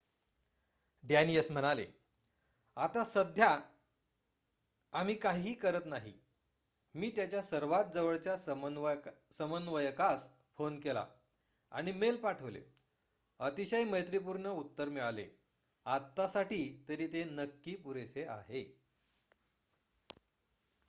"डॅनीयस म्हणाले "आत्ता सध्या आम्ही काहीही करत नाही. मी त्याच्या सर्वात जवळच्या समन्वयकास फोन केला आणि मेल पाठवले अतिशय मैत्रीपूर्ण उत्तर मिळाले. आत्तासाठी तरी ते नक्की पुरेसे आहे.""